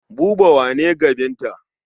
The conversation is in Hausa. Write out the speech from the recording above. Buba wa ne ga Binta.